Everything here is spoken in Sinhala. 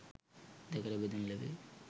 දෙකකට බෙදනු ලැබේ